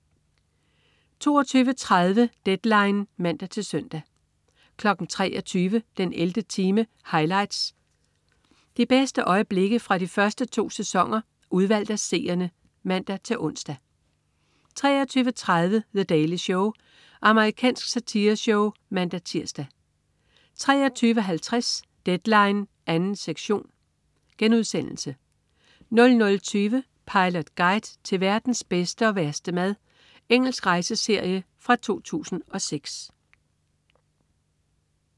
22.30 Deadline (man-søn) 23.00 den 11. time highlights. De bedste øjeblikke fra de første to sæsoner udvalgt af seerne (man-ons) 23.30 The Daily Show. Amerikansk satireshow (man-tirs) 23.50 Deadline 2. sektion* 00.20 Pilot Guide til verdens bedste og værste mad. Engelsk rejseserie fra 2006